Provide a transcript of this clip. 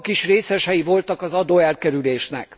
maguk is részesei voltak az adóelkerülésnek.